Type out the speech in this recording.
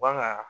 Bagan